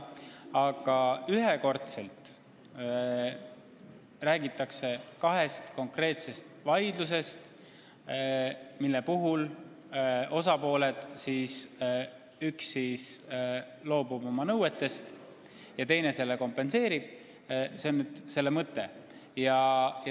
Aga eelnõu räägib kahest konkreetsest vaidlusest, mille puhul üks osapool loobub oma nõuetest ja teine kompenseerib selle ühekordse toetusega.